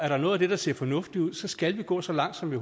der er noget af det der ser fornuftigt ud så skal gå så langt som vi